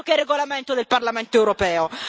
Altro che regolamento del Parlamento europeo!